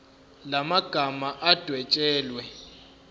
la magama adwetshelwe